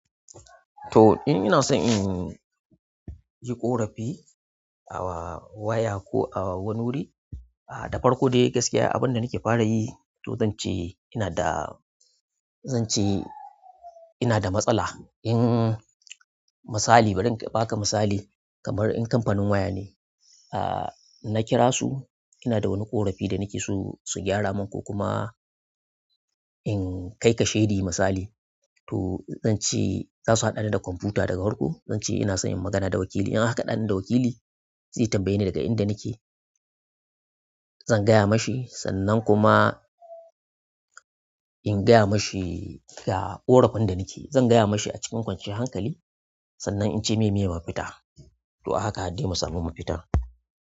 To, in ina son in yi ƙorafi a waya ko a wani wuri, da farko dai gaskiya abin da nake fara yi to zan ce ina da, zan ce ina da matsala. In misali bari in baka misala kamar kamfanin waya ne na kirasu, inada wani ƙorafi nake so a gyramin ko kuma in ki kashedi misali to ince zasu haɗani da kwamfuta farko. Zan ce ina son in magana da wakili. In aka haɗani da wakili zai tambaye ni daga inda nake, zan gaya ma shi sannan kuma in gaya ma shi ga ƙorafin da nake. Zan gaya ma shi a cikin kwanciyar hankali sannan in ce me me mafita. To a haka har dai mu samu mafita.